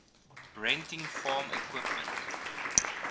renting farm equipment